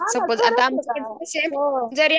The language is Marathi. हां ना जरी